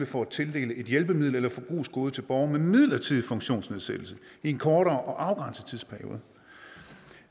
for at tildele et hjælpemiddel eller et forbrugsgode til borgere med midlertidig funktionsnedsættelse i en kortere og afgrænset tidsperiode og